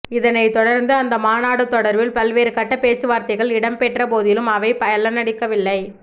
இதனை தொடர்ந்து அந்த மாநாடு தொடர்பில் பல்வேறு கட்ட பேச்சு வார்த்தைகள் இடம்பெற்ற போதிலும் அவை பலனளிக்கவில்லை